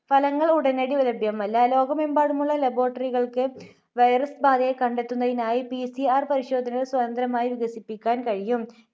ഫലങ്ങൾ ഉടനടി ലഭ്യമല്ല. ലോകമെമ്പാടുമുള്ള laboratory കൾക്ക് virus ബാധയെ കണ്ടെത്തുന്നതിനായി PCR പരിശോധനകൾ സ്വതന്ത്രമായി വികസിപ്പിക്കാൻ കഴിയും.